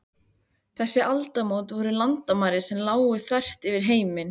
Þessi aldamót voru landamæri sem lágu þvert yfir heiminn.